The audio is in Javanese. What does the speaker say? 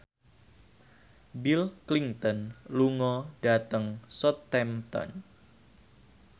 Bill Clinton lunga dhateng Southampton